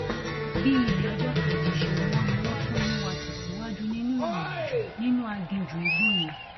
bí ilé ọjọ kejì ṣe mọ ni wọn tún mú wa tẹsíwájú nínú ìrìnàjò nínú aginjù igbó yẹn